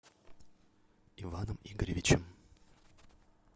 иваном игоревичем